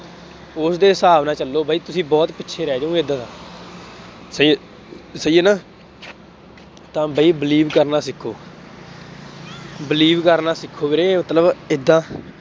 ਉਸਦੇ ਹਿਸਾਬ ਨਾਲ ਚੱਲੋ, ਬਈ ਤੁਸੀਂ ਬਹੁਤ ਪਿੱਛੇ ਰਹਿ ਜਾਊਂਗੇ ਏਦਾਂ ਤਾਂ, ਸਹੀ ਹੈ, ਸਹੀ ਹੈ ਨਾ, ਤਾਂ ਬਈ believe ਕਰਨਾ ਸਿੱਖੋ। believe ਕਰਨਾ ਸਿੱਖੋ ਵੀਰੇ, ਮਤਲਬ ਏਦਾਂ।